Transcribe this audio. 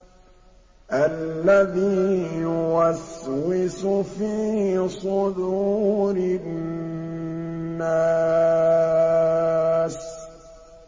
الَّذِي يُوَسْوِسُ فِي صُدُورِ النَّاسِ